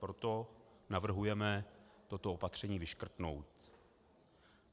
Proto navrhujeme toto opatření vyškrtnout.